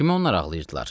Kimə onlar ağlayırdılar?